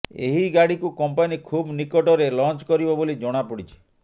ଏହି ଗାଡ଼ିକୁ କମ୍ପାନୀ ଖୁବ୍ ନିକଟରେ ଲଞ୍ଚ କରିବ ବୋଲି ଜଣାପଡିଛି